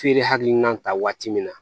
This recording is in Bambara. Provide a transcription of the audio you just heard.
Feere hakilina ta waati min na